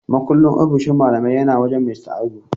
Mukullin ofishin malaman yana wajen Mista Audu.